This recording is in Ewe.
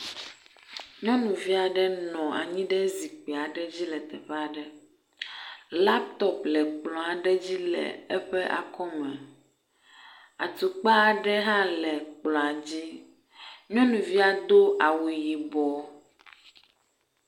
Nyɔnuviaɖe nɔ anyi ɖe zikpiaɖe dzi le teƒeaɖe laptop le ekplɔ aɖe dzi le eƒe akɔme atukpaɖe ha le kplɔa dzi nyɔnuvia do awu yibɔ